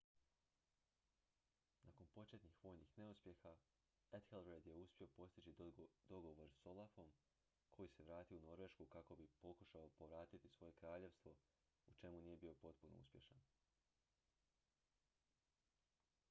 nakon početnih vojnih neuspjeha ethelred je uspio postići dogovor s olafom koji se vratio u norvešku kako bi pokušao povratiti svoje kraljevstvo u čemu nije bio potpuno uspješan